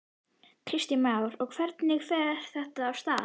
Kristján Már: Og hvernig fer þetta af stað?